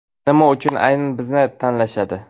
Nima uchun aynan bizni tanlashadi?